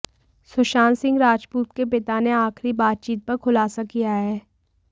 सुशांत सिंह राजपूत के पिता ने आखिरी बातचीत पर खुलासा किया है